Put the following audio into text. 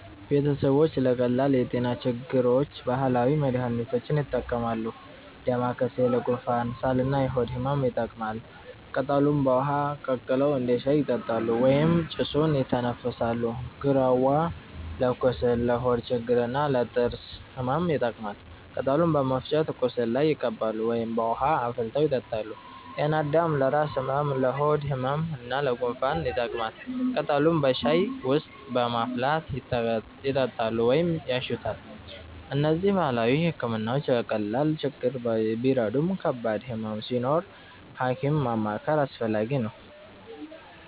ቤተሰቦች ለቀላል የጤና ችግሮች ባህላዊ መድሃኒቶችን ይጠቀማሉ። ዳማከሴ ለጉንፋን፣ ሳል እና የሆድ ህመም ይጠቅማል። ቅጠሉን በውሃ ቀቅለው እንደ ሻይ ይጠጣሉ ወይም ጭሱን ይተነፍሳሉ። ግራዋ ለቁስል፣ ለሆድ ችግር እና ለጥርስ ህመም ይጠቀማል። ቅጠሉን በመፍጨት ቁስል ላይ ይቀባሉ ወይም በውሃ አፍልተው ይጠጣሉ። ጤናአዳም ለራስ ህመም፣ ለሆድ ህመም እና ለጉንፋን ይጠቅማል። ቅጠሉን በሻይ ውስጥ በማፍላት ይጠጣሉ ወይም ያሸቱታል። እነዚህ ባህላዊ ሕክምናዎች ለቀላል ችግሮች ቢረዱም ከባድ ህመም ሲኖር ሐኪም ማማከር አስፈላጊ ነው።